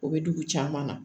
O bɛ dugu caman na